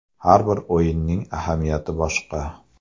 Har bir o‘yinning ahamiyati boshqa.